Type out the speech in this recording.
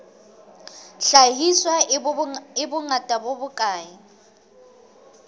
hlahiswa e bongata bo bokae